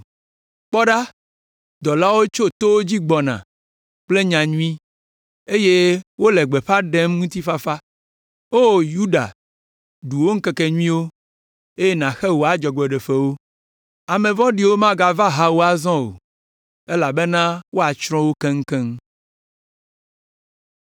Kpɔ ɖa, dɔlawo tso towo dzi gbɔna kple nya nyui, eye wole gbeƒã ɖem ŋutifafa! O Yuda, ɖu wò ŋkekenyuiwo, eye nàxe wò adzɔgbeɖefewo. Ame vɔ̃ɖiwo magava aha wò azɔ o, elabena woatsrɔ̃ wo keŋkeŋ.